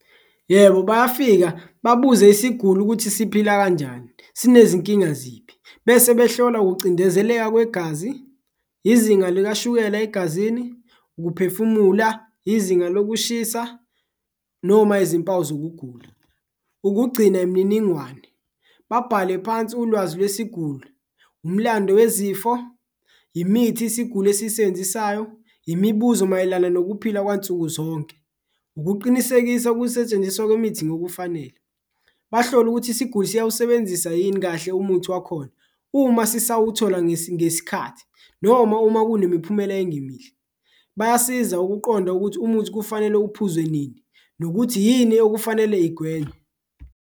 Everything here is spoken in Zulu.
Yebo, bayafika babuze isiguli ukuthi siphila kanjani, sinezinkinga ziphi bese behlola ukucindezeleka kwegazi, izinga likashukela egazini, ukuphefumula, izinga lokushisa noma izimpawu zokugula. Ukugcina imininingwane, babhale phansi ulwazi lwesiguli, umlando wezifo, imithi isiguli esiyisebenzisayo, imibuzo mayelana nokuphila kwansuku zonke. Ukuqinisekisa ukusetshenziswa kwemithi ngokufanele, bahlole ukuthi isiguli siyawusebenzisa yini kahle umuthi wakhona uma sisawuthola ngesikhathi, noma uma kunemiphumela engemihle bayasiza ukuqonda ukuthi umuthi kufanele uphuzwe nini nokuthi yini okufanele igwenywe.